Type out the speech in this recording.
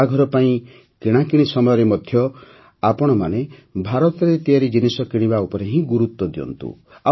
ବାହାଘର ପାଇଁ କିଣାକିଣି ସମୟରେ ମଧ୍ୟ ଆପଣମାନେ ଭାରତରେ ତିଆରି ଜିନିଷ କିଣିବା ଉପରେ ହିଁ ଗୁରୁତ୍ୱ ଦିଅନ୍ତୁ